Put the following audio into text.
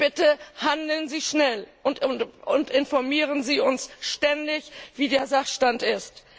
Bitte handeln Sie schnell und informieren Sie uns ständig, wie der Sachstand ist.